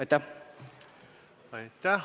Aitäh!